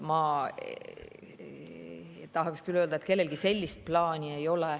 Ma tahaks küll öelda, et kellelgi sellist plaani ei ole.